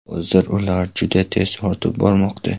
Hozir ular juda tez ortib bormoqda.